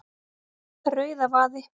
Rauðavaði